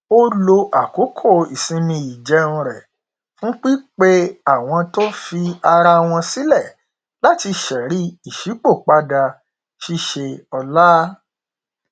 ó lo àkókò ìsinmi ìjẹun rẹ fún pípe àwọn tó fi ara wọn sílẹ láti ṣẹrí ìṣípòpadà ṣíṣe ọla